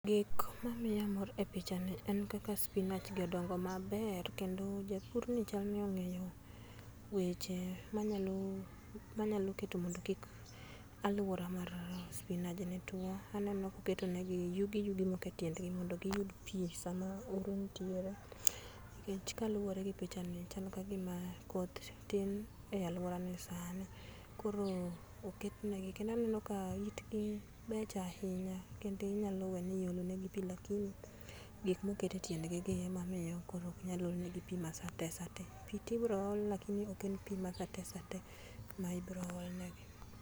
Gik ma miya mor e picha ni en kaka spinach gi odongo maber kendo japurni chalni ong'eyo weche ma nyalo ma keto mondo omi kik aluora mar spinajni two aneno koketo ne gi yugi yugi moko e tiend gi mondo gi yud pi sama oro nitiere nikech kaluore gi pichani chal ka gima koth tin e aluora ni sani ,koro oket ne gi kendo aneno ka gibecho ahinya kendo inyalo weyo ni iolo ne gi pii lakini gik mo oket e tiend gi ema miyo koro ok nyal olnegi pii ma sate sate pii to ibro ol lakini ok en pii ma sate sate ma ibro ol ne gi.